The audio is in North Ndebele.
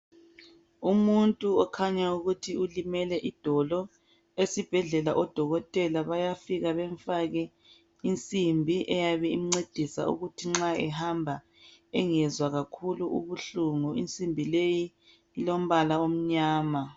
Umuntu okhanya ukuthi ulimele idolo , esibhedlela odokotela bayafika bemfake insimbi eyabe imcedisa ukuthi nxa ehamba engezwa kakhulu ubuhlungu, insimbi leyi ilombala omnyama